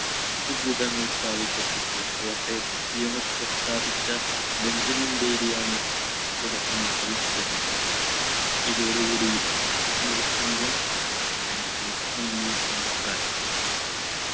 അച്ചുകൂടങ്ങള്‍ സ്ഥാപിക്കപ്പെട്ടു. കോട്ടയത്ത് CMS പ്രസ്ഥാപിച്ച ബെഞ്ചമിൻ ബേബി ആണ് തുടക്കം കുറിച്ചത്. ഇതോടുകൂടി നിർത്തുന്നു. thank you. നന്ദി. നമസ്ക്കാരം.